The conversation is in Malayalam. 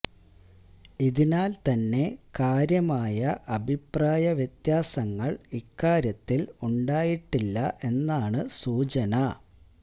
ഇതിനാല് തന്നെ കാര്യമായ അഭിപ്രായ വ്യത്യാസങ്ങള് ഇക്കാര്യത്തില് ഉണ്ടായിട്ടില്ല എന്നാണ് സൂചന